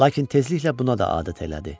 Lakin tezliklə buna da adət elədi.